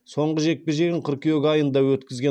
соңғы жекпе жегін қыркүйек айында өткізген